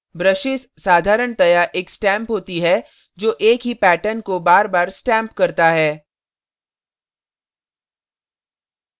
brushes साधारणतया एक stamp होती है जो एक ही pattern को बारबार stamp करता है